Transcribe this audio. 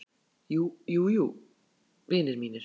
KRISTJÁN: Jú, jú, vinir mínir!